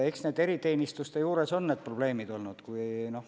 Eks eriteenistuste juures on need probleemid olnud.